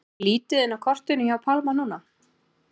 Er lítið inn á kortinu hjá Pálma núna?